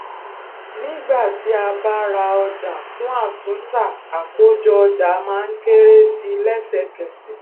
nígbà tí a bá ra ọjà fún àtúntà àkójọ ọjà má ń kéré sí i lẹsẹkẹsẹ